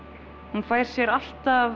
hún fær sér alltaf